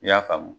I y'a faamu